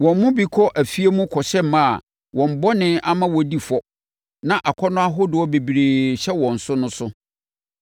Wɔn mu bi kɔ afie mu kɔhyɛ mmaa a wɔn bɔne ama wɔdi fɔ na akɔnnɔ ahodoɔ bebree hyɛ wɔn so no so;